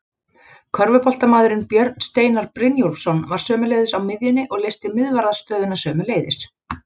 Körfuboltamaðurinn Björn Steinar Brynjólfsson var sömuleiðis á miðjunni og leysti miðvarðarstöðuna sömuleiðis.